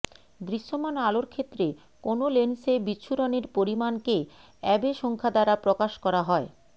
দৃশ্যমান আলোর ক্ষেত্রে কোনো লেন্সে বিচ্ছুরণের পরিমাণকে আ্যবে সংখ্যা দ্বারা প্রকাশ করা হয়ঃ